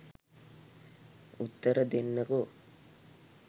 උත්තර දෙන්නකෝ?